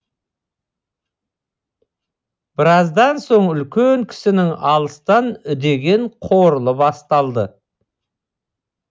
біраздан соң үлкен кісінің алыстан үдеген қорылы басталды